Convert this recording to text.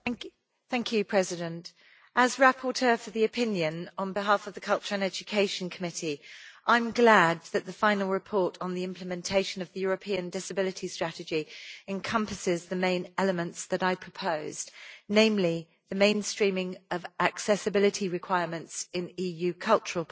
Mr President, as rapporteur for the opinion on behalf of the Committee on Culture and Education, I am glad that the final report on the implementation of the European Disability Strategy encompasses the main elements that I proposed, namely the mainstreaming of accessibility requirements in EU cultural policies,